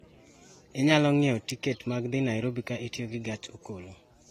Inyalo ng'iewo tiket mag dhi Nairobi ka itiyo gi gach okolo